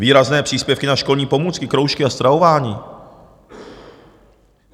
Výrazné příspěvky na školní pomůcky, kroužky a stravování.